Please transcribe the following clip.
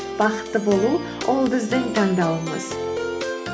бақытты болу ол біздің таңдауымыз